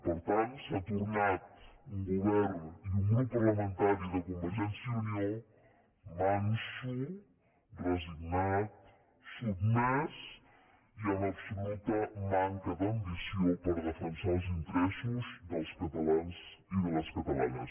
per tant s’ha tornat un govern i un grup parlamentari de convergència i unió manso resignat sotmès i amb absoluta manca d’ambició per defensar els interessos dels catalans i de les catalanes